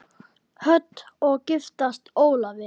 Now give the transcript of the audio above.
Hödd: Og giftast Ólafi?